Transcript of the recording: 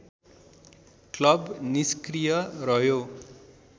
club निस्क्रिय रह्यो